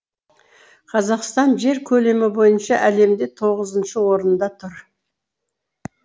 қазақстан жер көлемі бойынша әлемде тоғызыншы орында тұр